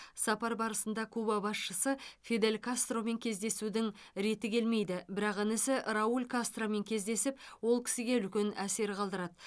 сапар барысында куба басшысы фидель кастромен кездесудің реті келмейді бірақ інісі рауль кастромен кездесіп ол кісіге үлкен әсер қалдырады